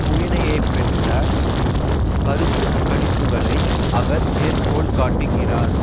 புயனையப்பெற்ற கருத்து கணிப்புக்களை அவர் மேற்கோள்காட்டுக்கிறார்